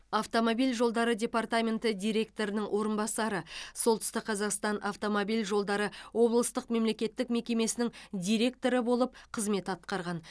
автомобиль жолдары департаменті директорының орынбасары солтүстік қазақстан автомобиль жолдары облыстық мемлекеттік мекемесінің директоры болып қызмет атқарған